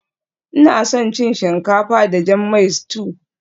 Ina son cin shinkafa da jan mai stew